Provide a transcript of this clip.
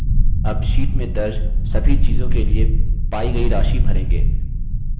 अब sheet में दर्ज सभी चीज़ों के लिए पायी गयी राशि भरेंगे